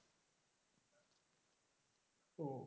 ওহ